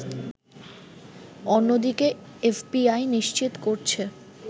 অন্যদিকে এফবিআই নিশ্চিত করছে